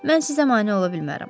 Mən sizə mane ola bilmərəm.